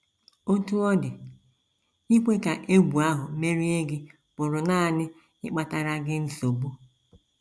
Otú ọ dị, ikwe ka egwu ahụ merie gị pụrụ nanị ịkpatara gị nsogbu.